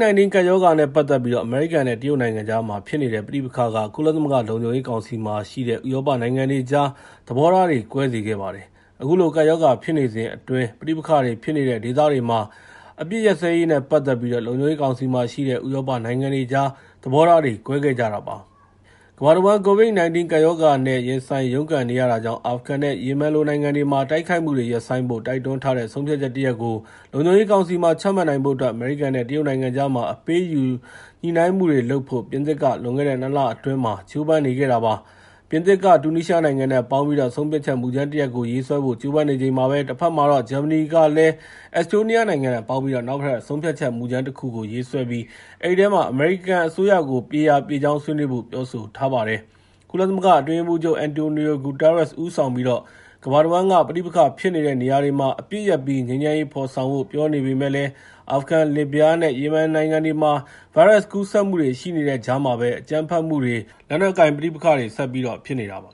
-19 ကပ်ရောဂါနဲ့ ပတ်သက်ပြီး အမေရိကန်နဲ့ တရုတ်နိုင်ငံကြားမှာ ဖြစ်နေတဲ့ ပဋိပက္ခက ကုလသမဂ္ဂ လုံခြုံရေးကောင်စီမှာရှိတဲ့ ဥရောပနိုင်ငံတွေကြား သဘောထားတွေ ကွဲစေခဲ့ပါတယ်။ အခုလို ကပ်ရောဂါဖြစ်နေစဉ်အတွင်း ပဋိပက္ခတွေဖြစ်နေတဲ့ ဒေသတွေမှာ အပစ်ရပ်စဲရေးနဲ့ ပတ်သက်ပြီး လုံခြုံရေးကောင်စီမှာရှိတဲ့ ဥရောပနိုင်ငံတွေကြား သဘောထားတွေ ကွဲခဲ့ကြတာပါ။ ကမ္ဘာတဝန်း COVID-19 ကပ်ရောဂါနဲ့ ရင်ဆိုင်ရုန်းကန်နေရတာကြောင့် အာဖဂန်နဲ့ ယီမင်လို နိုင်ငံတွေမှာ တိုက်ခိုက်မှုတွေကို ရပ်ဆိုင်းဖို့ တိုက်တွန်းထားတဲ့ ဆုံးဖြတ်ချက်တရပ် လုံခြုံရေးကောင်စီမှာ ချမှတ်နိုင်ဖို့အတွက် အမေရိကန်နဲ့ တရုတ်နိုင်ငံကြားမှာ အပေးအယူ ညှိနှိုင်းမှုတွေလုပ်ဖို့ ပြင်သစ်က လွန်ခဲ့တဲ့ ၂ လအတွင်းမှာ ကြိုးပမ်းနေခဲ့တာ ဖြစ်ပါတယ်။ ပြင်သစ်က တူနီးရှားနိုင်ငံနဲ့ ပေါင်းပြီးတော့ ဆုံးဖြတ်ချက်မူကြမ်းတရပ်ကို ရေးဆွဲဖို့ ကြိုးပမ်းနေချိန်မှာပဲ တဖက်မှာတော့ ဂျာမနီက အက်စ်တိုးနီးယားနဲ့ ပေါင်းပြီးတော့ နောက်ထပ် ဆုံးဖြတ်ချက်မူကြမ်းတခုကို ရေးဆွဲခဲ့ပြီး အဲဒီထဲမှာ အမေရိကန်အစိုးရကို ပြေရာပြေကြောင်း ဆွေးနွေးဖို့ ပြောဆိုထားပါတယ်။ ကုလသမဂ္ဂ အတွင်းရေးမှူးချုပ် Antonio Guterres ဦးဆောင်ပြီး ကမ္ဘာတဝန်းက ပဋိပက္ခဖြစ်နေတဲ့ နေရာတွေမှာ အပစ်ရပ်ပြီး ငြိမ်းချမ်းရေး ဖော်ဆောင်ဖို့ ပြောနေပေမယ့်လည်း အာဖဂန်၊ လစ်ဗျားနဲ့ ယီမင်နိုင်ငံတွေမှာ ဗိုင်းရပ်စ်ကူးစက်မှုတွေ ရှိနေတဲ့ကြားမှာပဲ အကြမ်းဖက်မှုတွေ လက်နက်ကိုင်ပဋိပက္ခတွေက ဆက်ပြီး ဖြစ်နေတာပါ